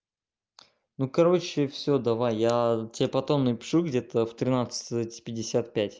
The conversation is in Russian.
ну короче все давай я тебе потом напишу где-то в тринадцать пятьдесят пять